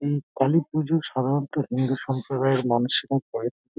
এই কালী পুজো সাধারণ তো হিন্দু সম্প্রদায়ের মানুষেরা করে থাকে।